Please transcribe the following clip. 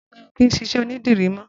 Bunmi ó kìn ṣiṣẹ ónìdìrí mọ